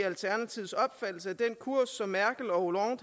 alternativets opfattelse af den kurs som merkel og